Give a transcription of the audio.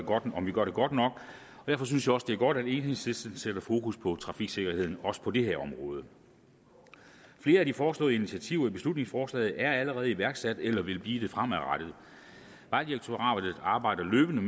om vi gør det godt nok derfor synes jeg også det er godt at enhedslisten sætter fokus på trafiksikkerheden også på det her område flere af de foreslåede initiativer i beslutningsforslaget er allerede iværksat eller vil blive det fremadrettet vejdirektoratet arbejder løbende